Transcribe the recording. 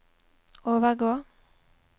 overgå